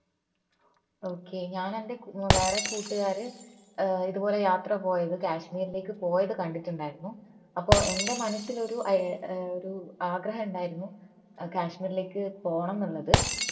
okay ഞാനെന്റെ വേറെ കൂട്ടുകാര് ഏർ ഇതുപോലെ യാത്ര പോയത് കാശ്മീരിലേക്ക് പോയത് കണ്ടിട്ടുണ്ടായിരുന്നു അപ്പോൾ എന്റെ മനസ്സിൽ ഒരു ഐ ഏർ ആഗ്രഹം ഉണ്ടായിരുന്നു കാശ്മീരിലേക്ക് പോണം എന്നുള്ളത്